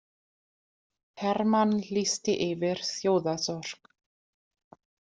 Hermann lýsti yfir þjóðarsorg.